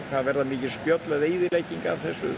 það verða mikil spjöll eða eyðileggingar af þessu